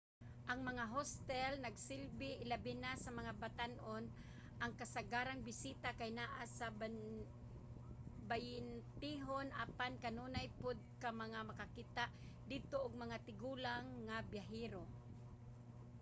ang mga hostel nagasilbi ilabina sa mga batan-on – ang kasagarang bisita kay anaa sa bayentehon – apan kanunay pod ka nga makakita didto og mga tigulang nga biyahero